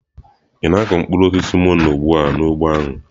Ị na-akụ mkpụrụ osisi mono ugbu a n'ugbo ahụ?